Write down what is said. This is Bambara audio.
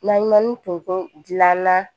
N'an ye manintonso dilanna